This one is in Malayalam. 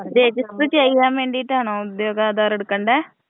രജിസ്റ്റർ ചെയ്യാൻ വേണ്ടീട്ടാണോ ഉദ്യോഗാധാറ് എടുക്കണ്ടേ?